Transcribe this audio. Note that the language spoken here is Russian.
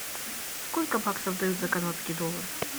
сколько баксов дают за канадский доллар